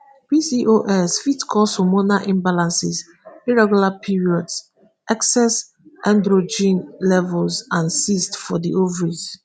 pcos fit cause hormonal imbalances irregular periods excess androgen levels and cysts for di ovaries.